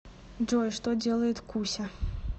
джой что делает куся